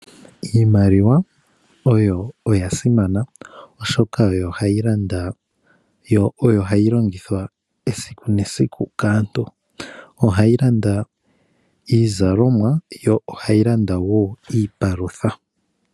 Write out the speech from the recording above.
Iimaliwa oya simana oshoka oyo hayi landa, yo oyo hayi longithwa esiku nesiku kaantu. Ohayi landa iizalomwa, yo ohayi landa wo iipalutha.